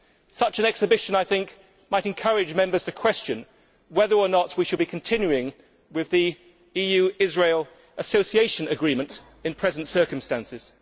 Such an exhibition might encourage Members to question whether or not we should be continuing with the EU Israel Association Agreement in the present circumstances.